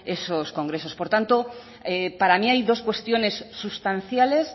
esos congresos por tanto para mí hay dos cuestiones sustanciales